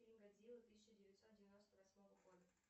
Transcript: фильм годзилла тысяча девятьсот девяносто восьмого года